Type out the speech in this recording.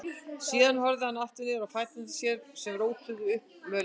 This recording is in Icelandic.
Síðan horfði hann aftur niður á fætur sér sem rótuðu upp mölinni.